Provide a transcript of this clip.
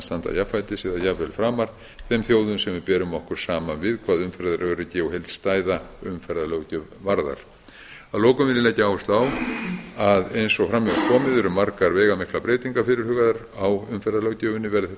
standa jafnfætis eða jafnvel framar þeim þjóðum sem við berum okkur saman við hvað umferðaröryggi og heildstæða umferðarlöggjöf varðar að lokum vil ég leggja áherslu á að margar veigamiklar breytingar eru fyrirhugaðar á umferðarlöggjöfinni verði frumvarpið